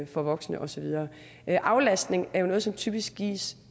for voksne og så videre aflastning er jo noget som typisk gives